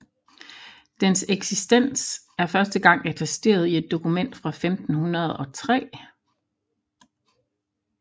Dens eksistens er første gang attesteret i et dokument fra 1503